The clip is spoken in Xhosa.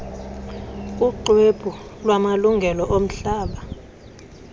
kuxwebhu lwamalungelo omhlaba